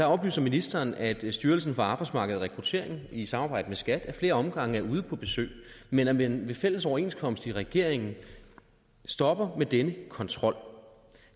oplyser ministeren at styrelsen for arbejdsmarked og rekruttering i samarbejde med skat ad flere omgange er ude på besøg men at man ved fælles overenskomst i regeringen stopper med denne kontrol